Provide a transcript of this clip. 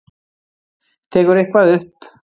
Tekur eitthvað upp.